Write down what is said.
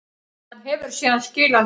Hann hefur síðan skilað þessu fé